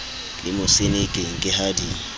le mosenekeng ke ha di